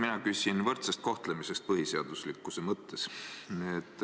Mina küsin võrdse kohtlemise kohta põhiseaduslikkuse mõttes.